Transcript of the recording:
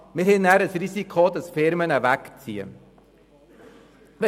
Wir gehen das Risiko ein, dass Firmen wegziehen werden.